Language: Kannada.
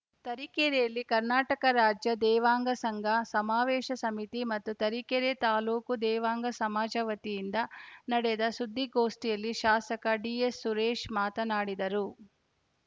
ತರೀಕೆರೆಯಲ್ಲಿ ಕರ್ನಾಟಕ ರಾಜ್ಯ ದೇವಾಂಗ ಸಂಘ ಸಮಾವೇಶ ಸಮಿತಿ ಮತ್ತು ತರೀಕೆರೆ ತಾಲೂಕು ದೇವಾಂಗ ಸಮಾಜ ವತಿಯಿಂದ ನಡೆದ ಸುದ್ದಿಗೋಷ್ಠಿಯಲ್ಲಿ ಶಾಸಕ ಡಿಎಸ್‌ ಸುರೇಶ್‌ ಮಾತನಾಡಿದರು